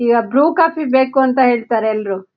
ಇವಾಗ್ ಬ್ರು ಕಾಫಿ ಬೇಕು ಅಂತಾ ಹೇಳ್ತಾರೆ ಎಲ್ಲ್ರು .